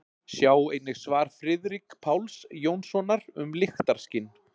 Sjá einnig svar Friðrik Páls Jónssonar um lyktarskyn.